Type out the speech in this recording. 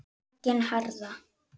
Höggin harðna.